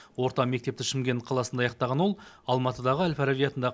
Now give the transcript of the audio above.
орта мектепті шымкент қаласында аяқтаған ол алматыдағы әл фараби атында